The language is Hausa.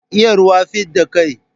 Iya ruwa, fidda kai.